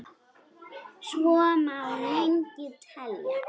Svo má lengi telja.